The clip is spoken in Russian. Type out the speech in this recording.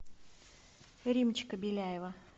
римчика беляева